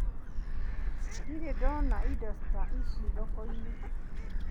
Ndirĩ ndona indo ta ici thoko-inĩ.